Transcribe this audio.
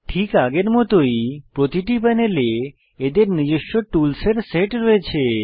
ঠিক আগের মতই প্রতিটি প্যানেলে এদের নিজস্ব টুলসের সেট রয়েছে